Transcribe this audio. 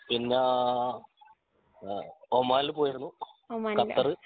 പിന്നെ അഹ് ഓണമിൽ പോയിരുന്നു ഖത്തർ